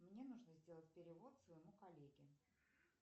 мне нужно сделать перевод своему коллеге